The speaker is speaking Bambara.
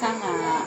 Kan ga